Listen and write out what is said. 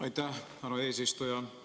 Aitäh, härra eesistuja!